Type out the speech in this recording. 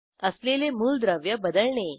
असलेले मूलद्रव्य बदलणे